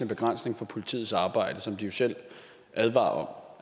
begrænsning for politiets arbejde sådan som de selv advarer om